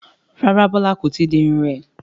Rárá Bola kò tíì di irun rẹ̀